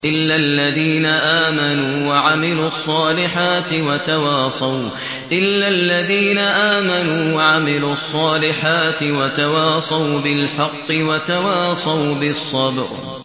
إِلَّا الَّذِينَ آمَنُوا وَعَمِلُوا الصَّالِحَاتِ وَتَوَاصَوْا بِالْحَقِّ وَتَوَاصَوْا بِالصَّبْرِ